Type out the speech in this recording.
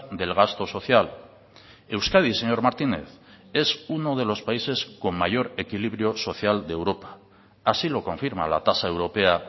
del gasto social euskadi señor martínez es uno de los países con mayor equilibrio social de europa así lo confirma la tasa europea